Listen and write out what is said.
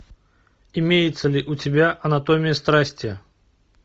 имеется ли у тебя анатомия страсти